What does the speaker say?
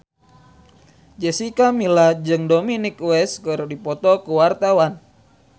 Jessica Milla jeung Dominic West keur dipoto ku wartawan